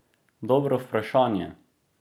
Dobro vprašanje!